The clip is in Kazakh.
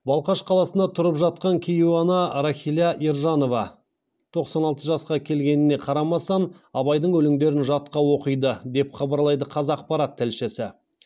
балқаш қаласында тұрып жатқан кейуана рахиля ержанова тоқсан алты жасқа келгеніне қарамастан абайдың өлеңдерін жатқа оқиды деп хабарлайды қазақпарат тілшісі